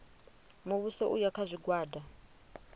muvhuso u ya kha zwigwada